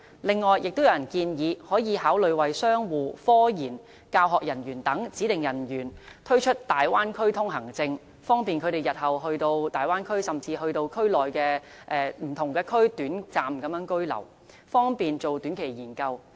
此外，亦有人建議考慮為商戶、科研和教學人員等指定人員推出大灣區通行證，方便他們日後前往大灣區甚至區內不同地方短暫居留，方便進行短期研究。